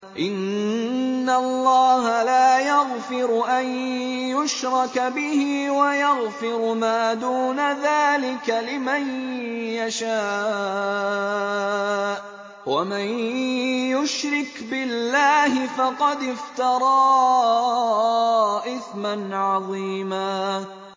إِنَّ اللَّهَ لَا يَغْفِرُ أَن يُشْرَكَ بِهِ وَيَغْفِرُ مَا دُونَ ذَٰلِكَ لِمَن يَشَاءُ ۚ وَمَن يُشْرِكْ بِاللَّهِ فَقَدِ افْتَرَىٰ إِثْمًا عَظِيمًا